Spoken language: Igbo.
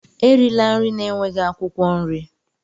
Erila nri na-enweghị akwụkwọ nri!